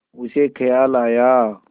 उसे ख़याल आया